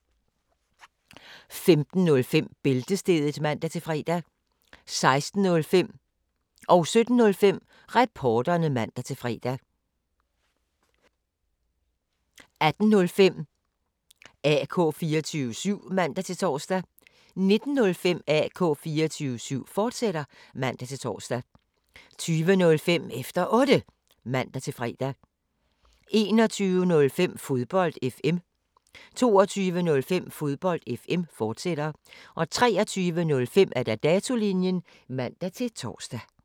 15:05: Bæltestedet (man-fre) 16:05: Reporterne (man-fre) 17:05: Reporterne (man-fre) 18:05: AK 24syv (man-tor) 19:05: AK 24syv, fortsat (man-tor) 20:05: Efter Otte (man-tor) 21:05: Fodbold FM 22:05: Fodbold FM, fortsat 23:05: Datolinjen (man-tor)